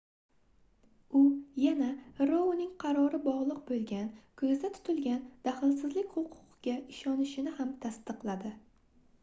u yana rouning qarori bogʻliq boʻlgan koʻzda tutilgan dahlsizlik huquqiga ishonishini ham tasdiqladi